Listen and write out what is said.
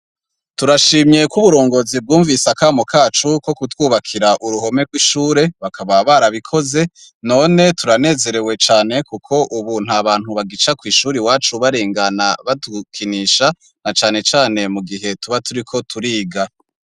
Turashimye ko uburongozi bwumvise akamo kacu ko kutwubakira uruhome rw'ishure bakaba barabikoze none turanezerewe cane kuko ubu nta bantu bagica ku ishuri wacu barengana batukinisha na cyane cyane mu gihe tuba turiko turiga.